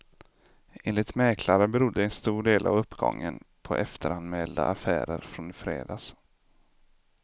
Enligt mäklare berodde en stor del av uppgången på efteranmälda affärer från i fredags.